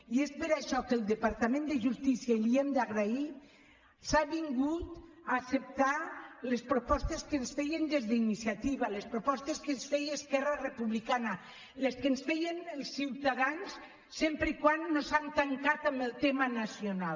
i és per això que el departament de justícia i li ho hem d’agrair s’ha avingut a acceptar les propostes que ens feien des d’iniciativa les propostes que ens feia esquerra republicana les que ens feien ciutadans sempre que no s’han tancat en el tema nacional